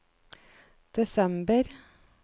desember